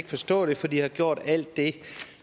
forstå det for de har gjort alt det